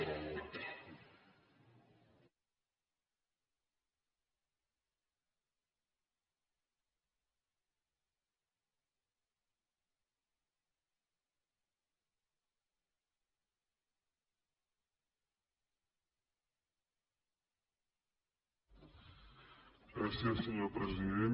gràcies senyor president